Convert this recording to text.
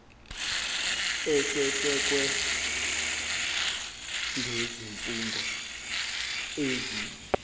esesekwe ngezifungo ezi